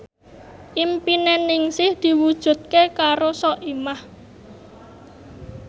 impine Ningsih diwujudke karo Soimah